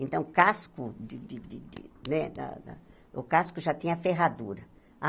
Então, o casco de de de né da o casco já tinha ferradura.